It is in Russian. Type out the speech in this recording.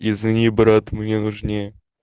извини брат мне нужнее